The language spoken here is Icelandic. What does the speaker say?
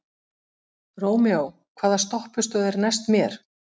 Rómeó, hvaða stoppistöð er næst mér?